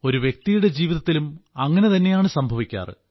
ഒരു വ്യക്തിയുടെ ജീവിതത്തിലും അങ്ങനെ തന്നെയാണ് സംഭവിക്കാറ്